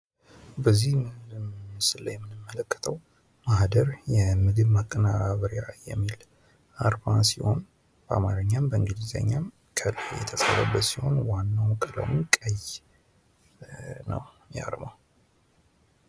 በዚህ ምስል ላይ የምንመለከተው ማህደር የምግብ ማቀነባበሪያ የሚል አርማ ሲሆን በአማርኛም በእንግሊዝኛ ክርብ የተሰራበት ሲሆን ዋናው ቀለሙ ቀይ ነው የአርማው